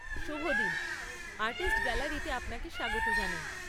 শুভ দিন, আর্টিস্টস গ্যালারিতে আপানকে স্বাগত জানাই।